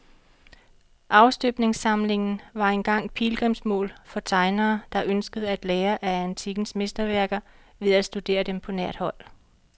Afstøbningssamlingen var engang pilgrimsmål for tegnere, der ønskede at lære af antikkens mesterværker ved at studere dem på nært hold.